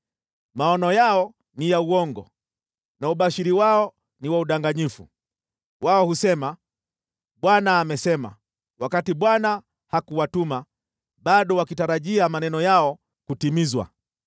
Maono yao ni ya uongo na ubashiri wao ni wa udanganyifu. Wao husema, “ Bwana amesema,” wakati Bwana hakuwatuma, bado wakitarajia maneno yao kutimizwa.